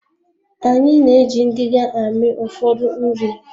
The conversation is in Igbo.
Anyị na-eji ngiga amị ụfọdụ nri